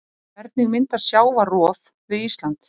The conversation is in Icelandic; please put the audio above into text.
Hvernig myndast sjávarrof við Ísland?